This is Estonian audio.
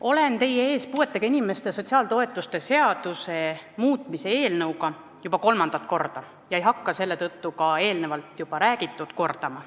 Olen teie ees puuetega inimeste sotsiaaltoetuste seaduse muutmise eelnõuga juba kolmandat korda ega hakka seetõttu juba räägitut kordama.